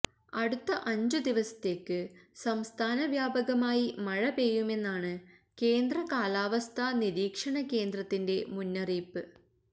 അടുത്ത അഞ്ച് ദിവസത്തേക്ക് സംസ്ഥാന വ്യാപകമായി മഴ പെയ്യുമെന്നാണ് കേന്ദ്ര കാലാവസ്ഥാ നിരീക്ഷണകേന്ദ്രത്തിന്റെ മുന്നറിയിപ്പ്